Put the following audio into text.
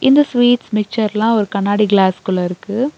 இந்த ஸ்வீட்ஸ் மிச்சர்ல ஒரு கண்ணாடி கிளாஸ்குள்ள இருக்கு.